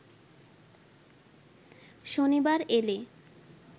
শনিবার এলে